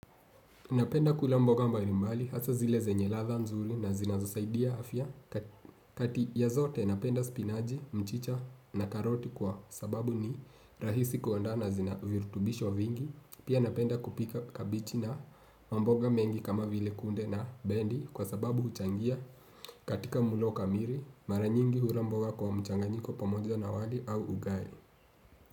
Napenda kula mboga mbalimbali hasa zile zenye ladha nzuri na zinazo saidia afya kati ya zote napenda spinachi, mchicha na karoti kwa sababu ni rahisi kuaanda na zina virutubisho vingi pia napenda kupika kabichi na mboga mengi kama vile kunde na bendi kwa sababu huchangia katika mlo kamili mara nyingi hula mboga kwa mchanganyiko pamoja na wali au ugali.